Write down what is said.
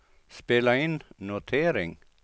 spela in notering